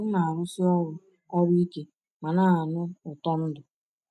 M na-arụsi ọrụ ọrụ ike ma na-anụ ụtọ ndụ.